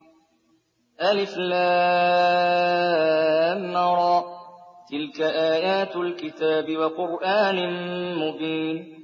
الر ۚ تِلْكَ آيَاتُ الْكِتَابِ وَقُرْآنٍ مُّبِينٍ